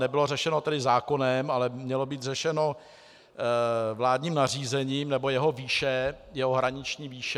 Nebylo řešeno tedy zákonem, ale mělo být řešeno vládním nařízením, nebo jeho výše, jeho hraniční výše.